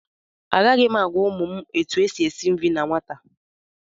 Agaghị m agwa ụmụ m etu e si esi nri na nwata